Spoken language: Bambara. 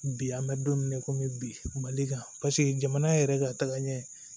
Bi an bɛ don min na i komi bi mali kan paseke jamana yɛrɛ ka tagaɲɛ